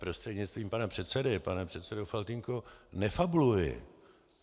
Prostřednictvím pana předsedy, pane předsedo Faltýnku - nefabuluji.